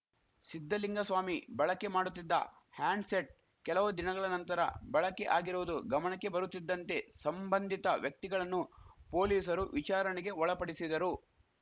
ಸಿದ್ಧಲಿಂಗಸ್ವಾಮಿ ಬಳಕೆ ಮಾಡುತ್ತಿದ್ದ ಹ್ಯಾಂಡ್‌ಸೆಟ್‌ ಕೆಲವು ದಿನಗಳ ನಂತರ ಬಳಕೆ ಆಗಿರುವುದು ಗಮಣಕ್ಕೆ ಬರುತ್ತಿದ್ದಂತೆ ಸಂಬಂಧಿತ ವ್ಯಕ್ತಿಗಳನ್ನು ಪೊಲೀಸರು ವಿಚಾರಣೆಗೆ ಒಳಪಡಿಸಿದರು